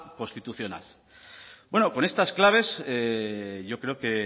constitucional bueno con estas claves yo creo que